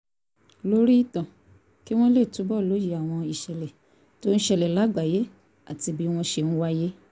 lórí ìtàn kí wọ́n lè túbọ̀ lóye àwọn ìṣẹ̀lẹ̀ tó ń ṣẹlẹ̀ lágbàáyé àti bí wọ́n ṣe ń wáyé